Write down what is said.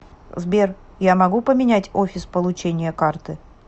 сбер я могу поменять офис получения карты